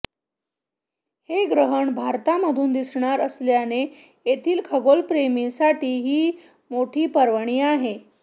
हे ग्रहण भारतामधून दिसणार असल्याने येथील खगोलप्रेमींसाठी ही मोठी पर्वणी आहे